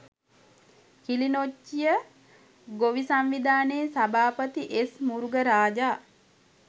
කිලිනොච්චිය ගොවි සංවිධානයේ සභාපති එස් මුරුගරාජා